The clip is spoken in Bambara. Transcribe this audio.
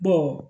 Bɔn